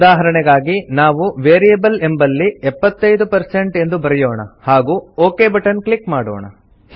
ಉದಾಹರಣೆಗಾಗಿ ನಾವು ವೇರಿಯಬಲ್ ಎಂಬಲ್ಲಿ 75 ಎಂದು ಬರೆಯೋಣ ಹಾಗೂ ಒಕ್ ಬಟನ್ ಕ್ಲಿಕ್ ಮಾಡೋಣ